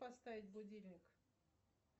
поставить будильник